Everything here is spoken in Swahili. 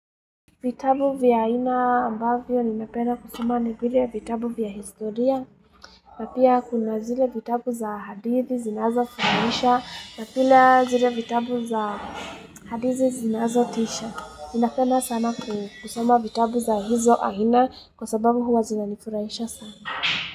Vitabu vya aina ambavyo ni napenda kusoma ni vile vitabu vya historia na pia kuna zile vitabu za hadithi zinazo tisha na pia zile vitabu za hadithi zinazo tisha ninapenda sana kusoma vitabu za hizo aina kwa sababu huwa zina nifurahisha sana.